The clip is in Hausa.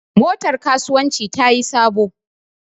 Motar kasuwanci tayi sabo.